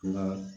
Nka